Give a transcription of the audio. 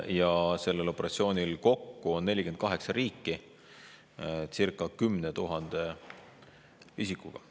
Ja sellel operatsioonil osaleb kokku 48 riiki circa 10 000 isikuga.